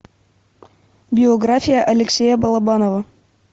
биография алексея балабанова